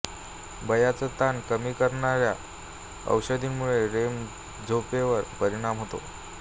बयाच ताण कमी करणाया औषधामुळे रेम झोपेवर परिणाम होतो